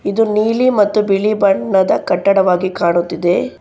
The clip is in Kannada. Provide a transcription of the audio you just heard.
ಇದು ನೀಲಿ ಮತ್ತು ಬಿಳಿ ಬಣ್ಣದ ಕಟ್ಟಡವಾಗಿ ಕಾಣುತ್ತಿದೆ.